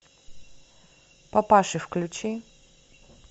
папаши включи